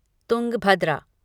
Tungabhadra